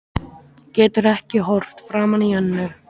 Getur ekki horft framan í Önnu